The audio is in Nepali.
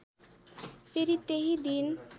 फेरि त्यही दिन